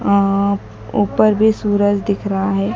ऊपर भी सूरज दिख रहा है।